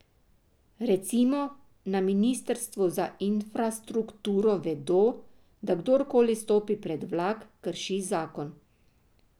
Recimo, na ministrstvu za infrastrukturo vedo, da kdorkoli stopi pred vlak, krši zakon.